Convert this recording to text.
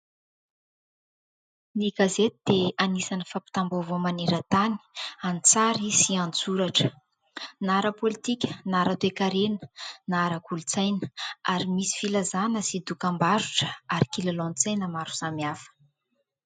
Ny gazety dia anisan'ny fampitam-baovao manerantany an-tsary sy an-tsoratra, na ara-politika, na ara-toekarena, na ara-kolotsaina ary misy filazana sy dokambarotra ary kilalao an-tsaina maro samihafa.